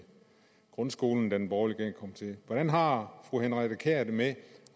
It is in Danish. grundskolen da den borgerlige regering kom til hvordan har fru henriette kjær det med